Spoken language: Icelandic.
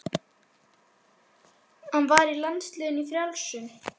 Hann var í landsliðinu í frjálsum.